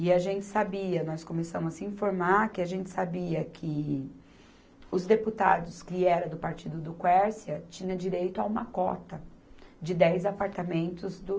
E a gente sabia, nós começamos a se informar, que a gente sabia que os deputados que eram do partido do Quércia tinham direito a uma cota de dez apartamentos do